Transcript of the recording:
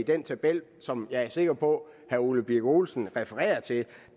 den tabel som jeg er sikker på herre ole birk olesen refererer til